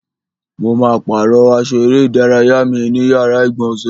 Mo ma pàrọ́ aṣọ eré ìdárayá mi ní yàrá ìgbọ̀nsẹ̀.